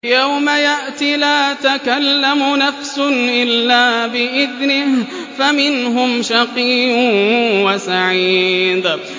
يَوْمَ يَأْتِ لَا تَكَلَّمُ نَفْسٌ إِلَّا بِإِذْنِهِ ۚ فَمِنْهُمْ شَقِيٌّ وَسَعِيدٌ